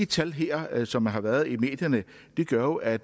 tal her som har været bragt i medierne gør jo at